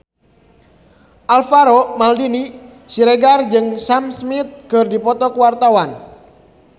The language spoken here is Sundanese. Alvaro Maldini Siregar jeung Sam Smith keur dipoto ku wartawan